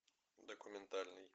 документальный